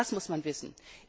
Auch das muss man wissen.